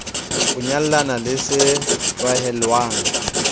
o nyallane le se tlalehwang